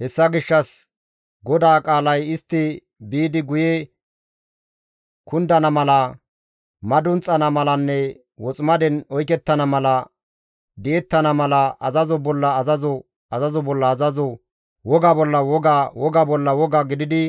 Hessa gishshas GODAA qaalay istti biidi guye kundana mala, madunxana malanne woximaden oykettana mala, di7ettana mala azazo bolla azazo, azazo bolla azazo, woga bolla woga, woga bolla woga gididi,